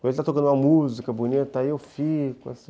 Quando ele está tocando uma música bonita, aí eu fico, assim